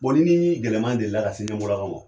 Bɔn n'i ni gɛlɛyaman deli la ka se ɲɛmɔlakaw ma